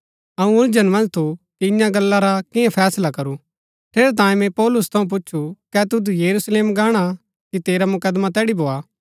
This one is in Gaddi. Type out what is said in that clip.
अऊँ उलझन मन्ज थु कि इन्या गल्ला रा कियां फैसला करू ठेरैतांये मैंई पौलुस थऊँ पुछु कै तुद यरूशलेम गाणा कि तेरा मुकदमा तैड़ी भोआ